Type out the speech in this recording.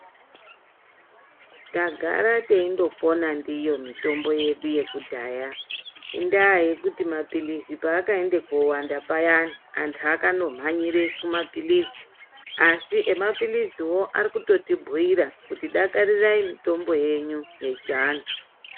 Tagara teindopona ndiyo mitombo yedu yekudhaya. Indaa yekuti maphiritsi paakaende kowanda payani, antu akandomhanyire kumaphiritsi, asi emaphiritsiwo arikutibhuyira kuti dakarirai mitombo yenyu yechiantu.